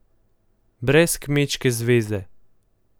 Brez Kmečke zveze.